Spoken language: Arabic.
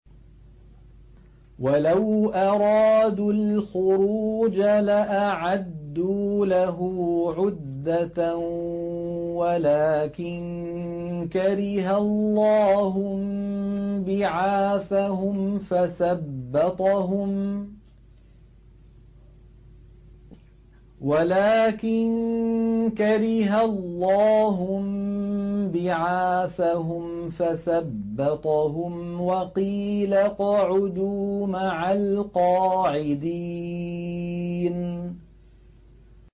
۞ وَلَوْ أَرَادُوا الْخُرُوجَ لَأَعَدُّوا لَهُ عُدَّةً وَلَٰكِن كَرِهَ اللَّهُ انبِعَاثَهُمْ فَثَبَّطَهُمْ وَقِيلَ اقْعُدُوا مَعَ الْقَاعِدِينَ